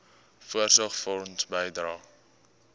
voorsorgfonds bydrae